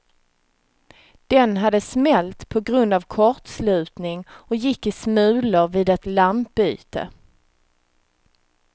Den hade smält på grund av kortslutning och gick i smulor vid ett lampbyte.